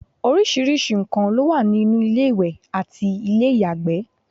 oríṣiríṣi nnkan ló wà ní inú ilé ìwẹ̀ àti ilé ìyàgbẹ́